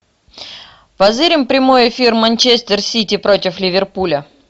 позырим прямой эфир манчестер сити против ливерпуля